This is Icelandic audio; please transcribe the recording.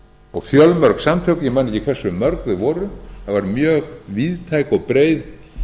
og fjölmörg samtök ég man ekki hversu mörg þau voru það var mjög víðtæk og breið